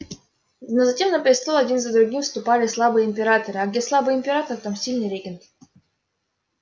но затем на престол один за другим вступали слабые императоры а где слабый император там сильный регент